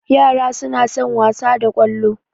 Ƴara suna son wasa da Kwalo